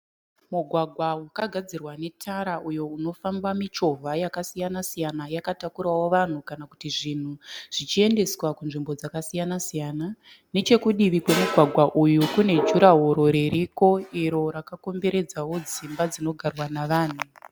Mugwagwa wakagadzirwa netara uyo unofamba michovha yakasiyana-siyana yakatakurawo vanhu kana kuti zvinhu zvichiendeswa kunzvimbo dzakasiyana-siyana. Nechekudivi kwemugwagwa uyu kune juraworo ririko iro rakakomberedzawo dzimba dzinogarwa navanhu.